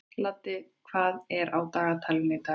Laddi, hvað er á dagatalinu í dag?